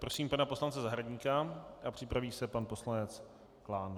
Prosím pana poslance Zahradníka a připraví se pan poslanec Klán.